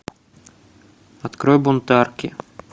открой бунтарки